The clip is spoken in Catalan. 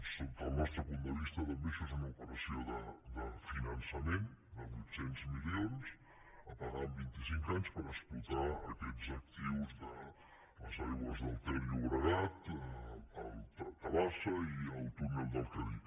sota el nostre punt de vista també això és una operació de finançament de vuit cents milions a pagar en vinti cinc anys per explotar aquests actius d’aigües ter llobregat tabasa i el túnel del cadí